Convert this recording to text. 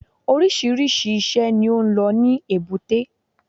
Oríṣìíríṣìí i iṣẹ́ ni ó lọ ní èbúté